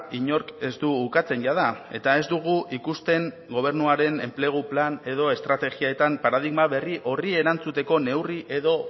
inork ez du ukatzen jada eta ez dugu ikusten gobernuaren enplegu plan edo estrategietan paradigma berri horri erantzuteko neurri edo